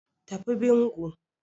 Tafi bingo